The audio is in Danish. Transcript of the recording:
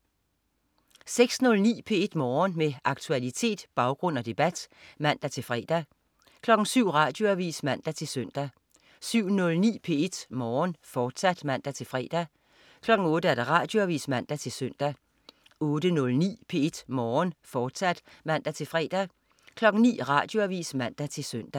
06.09 P1 Morgen. Med aktualitet, baggrund og debat (man-fre) 07.00 Radioavis (man-søn) 07.09 P1 Morgen, fortsat (man-fre) 08.00 Radioavis (man-søn) 08.09 P1 Morgen, fortsat (man-fre) 09.00 Radioavis (man-søn)